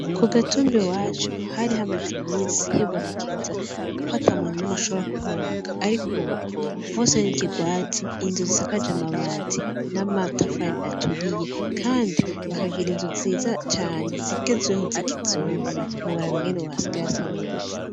Kugatumba iwacu hari hamaze imisi hibonekeza ko atamuntu n'umwe ashobora kuhubaka ,ariko ubu hose n'ikirwati ,inzu zisakaje amabati, n'amatafari aturiye, Kandi bakagira inzu nziza cane zigezweho z'ikizungu, ntiworaba ingene ubu hasigaye hasa neza.